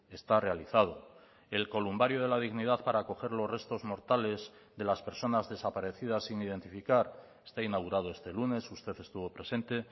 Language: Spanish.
está realizado el columbario de la dignidad para acoger los restos mortales de las personas desaparecidas sin identificar está inaugurado este lunes usted estuvo presente